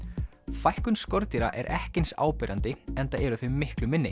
fækkun skordýra er ekki eins áberandi enda eru þau miklu minni